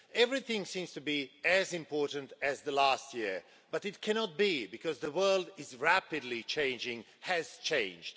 Everything seems to be as important as last year, but it cannot be, because the world is rapidly changing, it has changed.